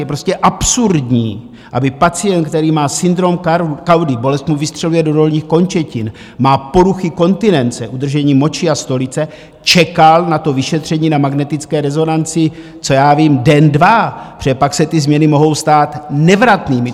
Je prostě absurdní, aby pacient, který má syndrom kaudy, bolest mu vystřeluje do dolních končetin, má poruchy kontinence, udržení moči a stolice, čekal na to vyšetření na magnetické rezonanci, co já vím, den dva, protože pak se ty změny mohou stát nevratnými.